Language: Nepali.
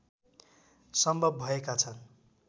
सम्भव भएका छन्